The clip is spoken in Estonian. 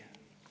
Ei.